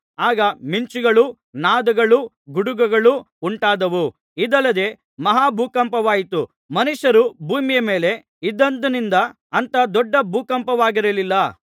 ಆಗ ಮಿಂಚುಗಳೂ ನಾದಗಳೂ ಗುಡುಗುಗಳೂ ಉಂಟಾದವು ಇದಲ್ಲದೆ ಮಹಾ ಭೂಕಂಪವಾಯಿತು ಮನುಷ್ಯರು ಭೂಮಿಯ ಮೇಲೆ ಇದ್ದಂದಿನಿಂದ ಅಂಥ ದೊಡ್ಡ ಭೂಕಂಪವಾಗಿರಲಿಲ್ಲ